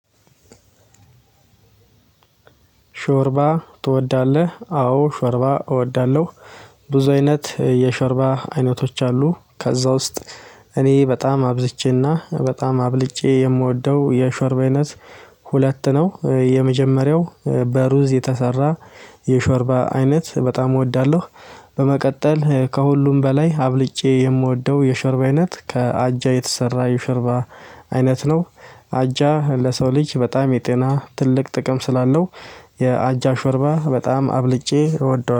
ሾርባ ትወዳለህ? አዎ ሾርባ እወዳለሁ። ብዙ አይነት የሾርባ አይነቶች አሉ። ከዛ ውስጥ እኔ በጣም አብዝቼና በጣም አብልጬ የምወደው የሾርባ አይነት ሁለት ነው። የመጀመሪያው በሩዝ የተሰራ የሾርባ አይነት በጣም እወዳለሁ። በመቀጠል ከሁሉም በላይ አብልጬ የምወደው የሸርባ አይነት ከአጃ የተሰራ የሸርባ አይነት ነው። አጃ ለሰው ልጅ በጣም የጤና ትልቅ ጥቅም ስላለው የአጃ ሾርባ በጣም አብልጬ እወደዋለሁ።